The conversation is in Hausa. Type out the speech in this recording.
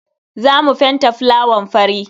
Za mu fenta fulawan fari.